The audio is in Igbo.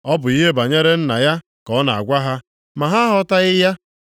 Ọ bụ ihe banyere Nna ya ka ọ na-agwa ha, ma ha aghọtaghị ya.